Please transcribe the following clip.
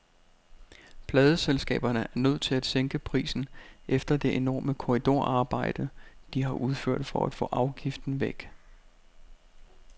Pladeselskaberne er nødt til at sænke prisen efter det enorme korridorarbejde, de har udført for at få afgiften væk.